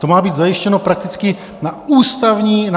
To má být zajištěno prakticky na ústavní rovině.